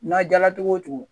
N'a jala cogo o cogo